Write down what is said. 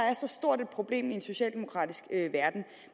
er så stort et problem i en socialdemokratisk verden